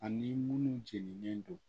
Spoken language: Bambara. Ani munnu jeninen don